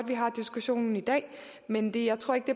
vi har diskussionen i dag men jeg tror ikke